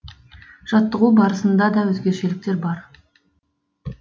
жаттығу барысында да өзгешеліктер бар